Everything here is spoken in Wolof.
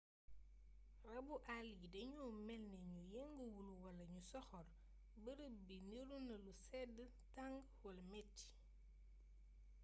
rabbu àll yi dañoo mélni ñu yënguwul wala ñu soxor bërëb bi niruna lu sédd tang wala métti